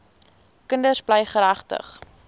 kinders bly geregtig